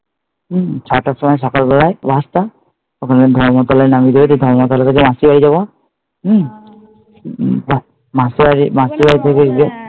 হম ছয়টার সময় সকালবেলায় বাসটা, ওখানে ধর্মতলায় নামিয়ে দেবে, দিয়ে ধর্মতলা থেকে মাসি বাড়ি যাবো হম মাসিবাড়ি থেকে গিয়ে